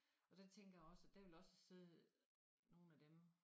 Og der tænker jeg også der vil også sidde nogen af dem